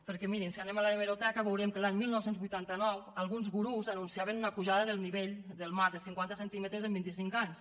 perquè mirin si anem a l’hemeroteca veurem que l’any dinou vuitanta nou alguns gurus anunciaven una pujada del nivell del mar de cinquanta centímetres en vint i cinc anys